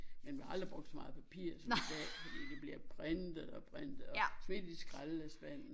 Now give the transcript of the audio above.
Men vi har aldrig brugt så meget papir som i dag fordi det bliver printet og printet og smidt i skraldespanden